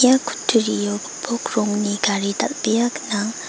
ia kutturio gipok rongni gari dal·bea gnang.